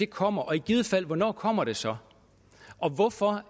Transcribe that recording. kommer og i givet fald hvornår kommer det så og hvorfor